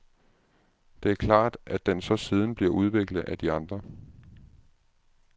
Det er klart, at den så siden bliver udviklet af de andre.